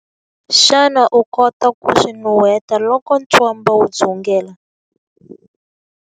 Xana u kota ku swi nuheta loko ntswamba wu dzungela?